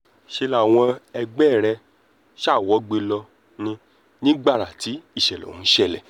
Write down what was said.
ṣe làwọn ẹgbẹ́ rẹ̀ gbogbo sá wọgbé ló ní ní gbàrà tí ìṣẹ̀lẹ̀ ọ̀hún ṣẹlẹ̀